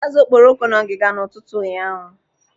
Azụ okporoko nọ ngiga n'ụtụtụ ụnyaahụ.